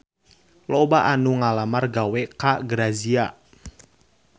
Loba anu ngalamar gawe ka Grazia